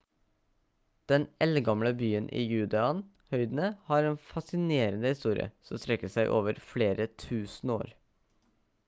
den eldgamle byen i judean høydene har en fascinerende historie som strekker seg over flere tusen år